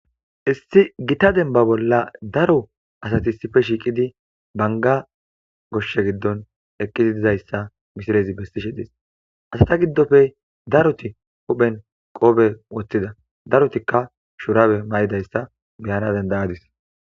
Issi gitta dembba bolla daro asati issi bolla shiiqidi bangga goshshe gidon eqqizi dizayssa misilezi besishe dees. Asata gidoppe asata gidoppe daroti huuphen qoobe woththida darotikka shuraabe maydoyssa be7ana danda7adis